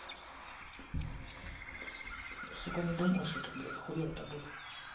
сука не думал что так блять хуёво то будет